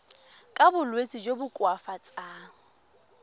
ka bolwetsi jo bo koafatsang